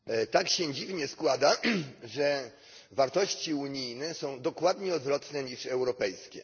Tak się dziwnie składa, że wartości unijne są dokładnie odwrotne niż europejskie.